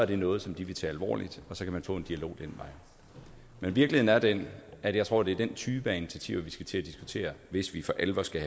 det noget som de vil tage alvorligt og så kan man få en dialog ad den er den at jeg tror det er den type af initiativer vi skal til at diskutere hvis vi for alvor skal